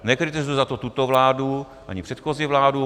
Nekritizuji za to tuto vládu ani předchozí vládu.